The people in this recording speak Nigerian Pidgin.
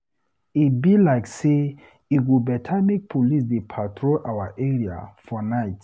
E be like sey e go beta make police dey patrol our area for night.